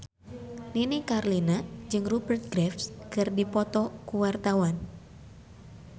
Nini Carlina jeung Rupert Graves keur dipoto ku wartawan